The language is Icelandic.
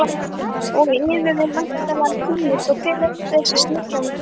Og yður er væntanlega kunnugt hver þessi smyglvarningur er.